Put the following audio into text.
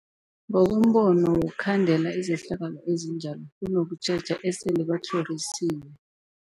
Ngokombono wokukhandela izehlakalo ezinjalo kunokutjheja esele batlhorisiwe.